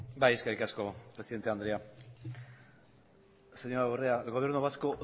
bai eskerrik asko presidente andrea señora urrea el gobierno vasco